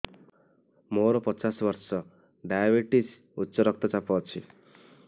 ମୋର ପଚାଶ ବର୍ଷ ଡାଏବେଟିସ ଉଚ୍ଚ ରକ୍ତ ଚାପ ଅଛି